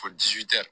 Ko